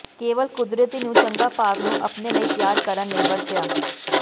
ਕੇਵਲ ਕੁਦਰਤੀ ਨੂੰ ਚੰਗਾ ਭਾਗ ਨੂੰ ਆਪਣੇ ਲਈ ਤਿਆਰ ਕਰਨ ਲਈ ਵਰਤਿਆ